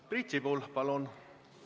Priit Sibul, palun!